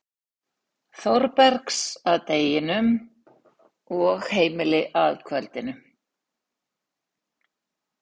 Þórbergs að deginum og heimili að kvöldinu.